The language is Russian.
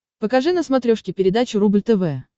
покажи на смотрешке передачу рубль тв